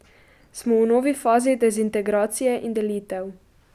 Smo v novi fazi dezintegracije in delitev.